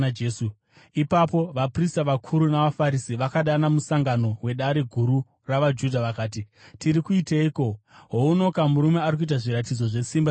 Ipapo vaprista vakuru navaFarisi vakadana musangano weDare Guru ravaJudha. Vakati, “Tiri kuiteiko? Hounoka murume ari kuita zviratidzo zvesimba zvizhinji.